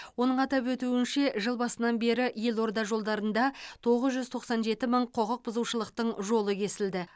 оның атап өтуінше жыл басынан бері елорда жолдарында тоғыз жүз тоқсан жеті мың құқық бұзушылықтың жолы кесілді